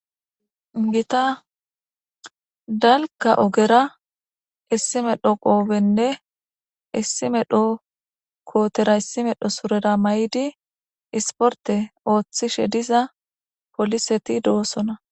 Gita dalka ogera issime dhoqoobenne issime dho kootera issime dho surera may7idi isporte ooththishe diza poliseti doosona